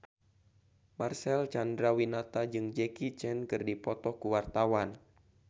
Marcel Chandrawinata jeung Jackie Chan keur dipoto ku wartawan